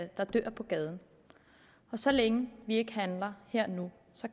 der dør på gaden og så længe vi ikke handler her og nu